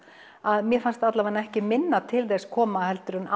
að mér fannst ekki minna til þess koma en